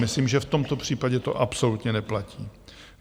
Myslím, že v tomto případě to absolutně neplatí.